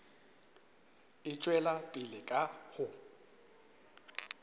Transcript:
e tšwela pele ka go